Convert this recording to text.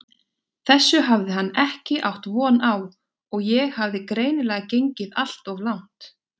Þessu hafði hann ekki átt von á og ég hafði greinilega gengið allt of langt.